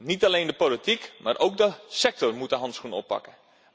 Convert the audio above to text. Niet alleen de politiek, maar ook de sector moet de handschoen oppakken.